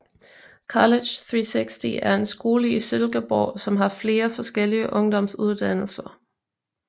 College360 er en skole i Silkeborg som har flere forskellige ungdomsuddannelser